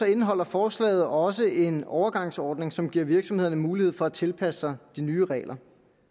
indeholder forslaget også en overgangsordning som giver virksomhederne mulighed for at tilpasse sig de nye regler